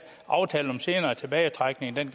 aftalen om senere tilbagetrækning